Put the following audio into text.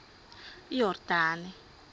yordane